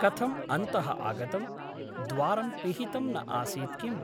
कथम् अन्तः आगतम् ? द्वारं पिहितं न आसीत् किम् ?